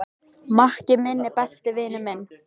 Maki minn er besti vinur minn.